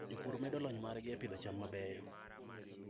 Jopur medo lony margi e pidho cham mabeyo.